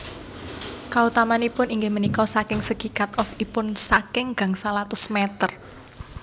Kautamanipun inggih punika saking segi cut off ipun saking gangsal atus meter